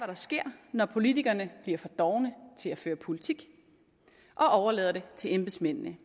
der sker når politikerne bliver for dovne til at føre politik og overlader det til embedsmændene